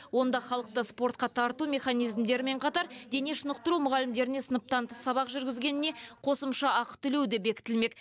онда халықты спортқа тарту механизмдерімен қатар дене шынықтыру мұғалімдеріне сыныптан тыс сабақ жүргізгеніне қосымша ақы төлеу де бекітілмек